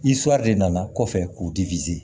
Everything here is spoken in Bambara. de nana kɔfɛ k'u